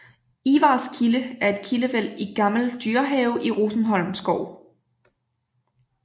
Ivarskilde er et kildevæld i Gammel Dyrehave i Rosenholm Skov